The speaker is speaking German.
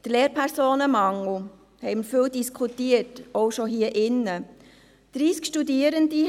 Über den Lehrpersonenmangel haben wir viel diskutiert, auch schon hier in diesem Saal.